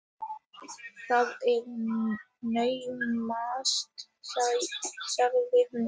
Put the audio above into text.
Það er naumast, sagði hún.